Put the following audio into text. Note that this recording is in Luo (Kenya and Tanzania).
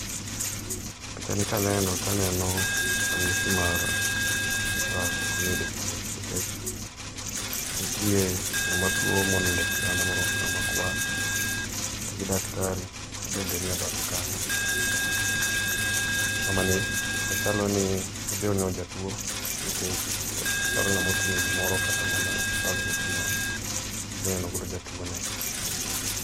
Pichani kaneno to aneno ranyisi mar osiptal kuma iyude thieth. Nitie ng'ama tuo moni do e kitanda moruako law makwar, to gi daktari mabende nie bathe kanyo. Mamani machalo ni obiro neno jatuo, nikech ochalo ng'ama oting'o gimoro kata mana bag moting'ono obiro neno godo jatuone.